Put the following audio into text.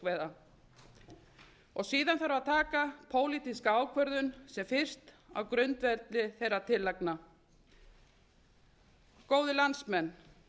um stjórn fiskveiða síðan þarf að taka pólitíska ákvörðun sem fyrst á grundvelli þeirra tillagna góðir landsmenn